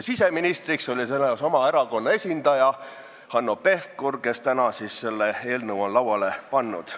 Siseministriks oli sellel ajal sama erakonna esindaja, Hanno Pevkur, kes täna on siin selle eelnõu lauale pannud.